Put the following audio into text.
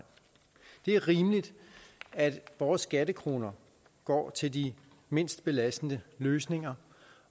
det er rimeligt at vores skattekroner går til de mindst belastende løsninger